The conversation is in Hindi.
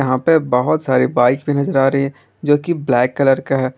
यहां पे बहोत सारी बाइक भी नजर आ रही है जो कि ब्लैक कलर का है।